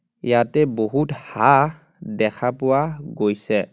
ইয়াতে বহুত হাঁহ দেখা পোৱা গৈছে.